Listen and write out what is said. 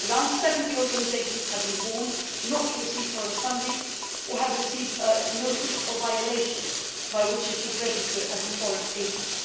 Around 70 organisations have been warned not to receive foreign funding, or have received a notice of violation according to which they should register as a foreign agent'.